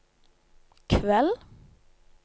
kveld